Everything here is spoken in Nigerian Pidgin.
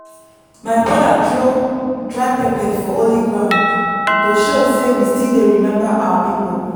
my brother throw dry pepper for holy ground to show say we still dey remember our people.